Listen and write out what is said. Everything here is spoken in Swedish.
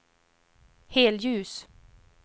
helljus